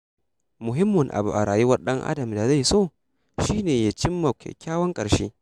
Muhimmin abu a rayuwar ɗan-adam da zai so ya cimma shi ne kyakkyawan ƙarshe.